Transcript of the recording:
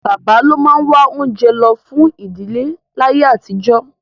Bàbá ló máa wá oúnjẹ lọ fún ìdíléláyé àtijọ́